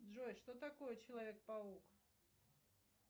джой что такое человек паук